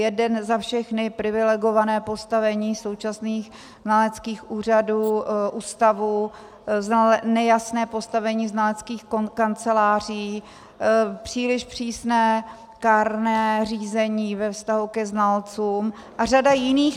Jeden za všechny - privilegované postavení současných znaleckých úřadů, ústavů, nejasné postavení znaleckých kanceláří, příliš přísné kárné řízení ve vztahu ke znalcům a řada jiných.